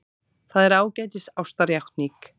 Það er ágætis ástarjátning.